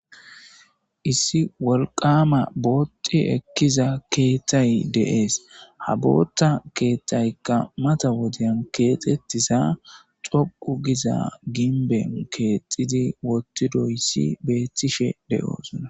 issi wolqama booti ekkiza keethtay deees ha bootta keeththaykka mata wodeyan keexettiza xoqu giza ginben keexxidi wottidoyssi beettishe de7oosonna